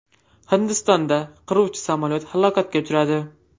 Hindistonda qiruvchi samolyot halokatga uchradi.